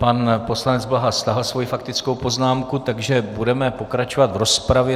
Pan poslanec Bláha stáhl svoji faktickou poznámku, takže budeme pokračovat v rozpravě.